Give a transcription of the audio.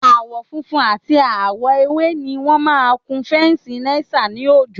Àwọ̀ funfun àti àwọ̀ ewé I wọn máa kun féǹsì Náísà ní òjòó